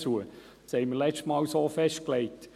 Dies hatten wir letztes Mal so festgelegt.